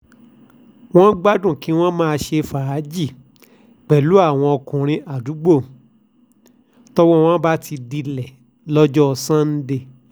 wọ́n gbádùn kí wọ́n máa ṣe fàájì pẹ̀lú àwọn ọkùnrin àdúgbò tọ́wọ́ wọn bá ti dilẹ̀ lọ́jọ́ sànńdẹ̀